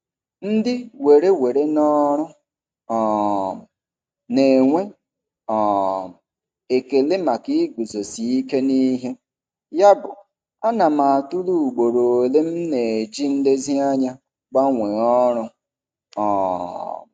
Ndị were were n'ọrụ um na-enwe um ekele maka iguzosi ike n'ihe, yabụ ana m atụle ugboro ole m na-eji nlezianya gbanwee ọrụ. um